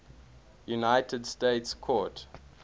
united states court